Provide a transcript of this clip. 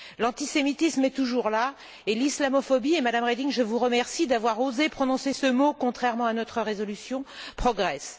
L'antisémitisme est toujours là, et l'islamophobie Madame Reding, je vous remercie d'avoir osé prononcer ce mot, contrairement à notre résolution progresse.